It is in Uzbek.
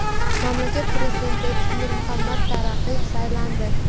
Mamlakat prezidenti etib Nur Muhammad Taraqiy saylandi.